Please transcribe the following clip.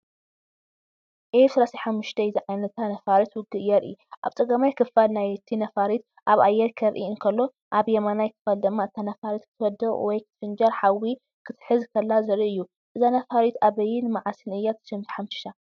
ኤፍ-35 ዝዓይነታ ነፋሪት ውግእ የርኢ። ኣብ ጸጋማይ ክፋል ናይቲ ነፋሪት ኣብ ኣየር ከርኢ እንከሎ፡ ኣብ የማናይ ክፋል ድማ እታ ነፋሪት ክትወድቕ ወይ ክትፈንጅር፡ ሓዊ ክትሕዝ ከላ ዘርኢ እዩ። እዛ ነፋሪት ኣበይን መዓስን እያ ተሓምሺሻ?